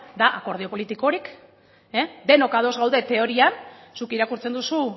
da akordio politikorik denok ados gaude teorian zuk irakurtzen duzu